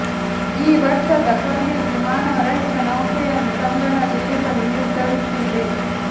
ಈ ವರ್ಷದ ಕೊನೆಯಲ್ಲಿ ಮಾನವ ರಹಿತ ನೌಕೆಯನ್ನು ಚಂದ್ರನಲ್ಲಿ ಇಳಿಸಲು ನಿರ್ಧರಿಸಿದೆ